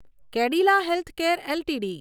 Cadila healthcare LTD